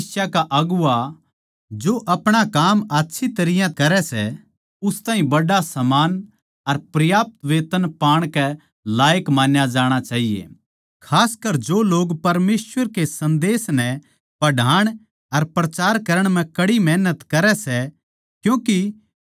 कोए भी कलीसिया का अगुवां जो आपणा काम आच्छी तरियां करै सै उस ताहीं बड़ा सम्मान अर पर्याप्त वेतन पाण के लायक मान्या जाणा चाहिए खासकर जो लोग परमेसवर के सन्देस नै पढ़ाण अर प्रचार करण म्ह कड़ी मेहनत करै सै